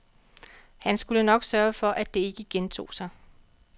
Han skulle nok sørge for, det ikke gentog sig.